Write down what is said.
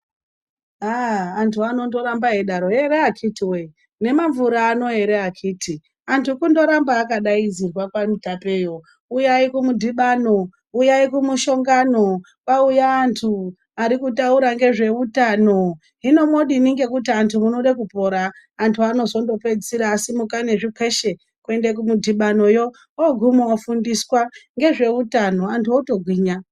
Aaah!, antu anondoramba eidaro, "here akiti woye, nemamvura ano!". Antu kundorambe akadaidzirwa kwaMutapeyo , "uyai kumudhibano, uyai kumushongano, kwauya antu arikutaura ngezveutano, hino munodini ngekuti antu munode kupora!"Antu anozopedzisira asimuka nezvikweshe kuende kumudhibanoyo. Ooguma otofundiswa ngezveutano antu otogwinya.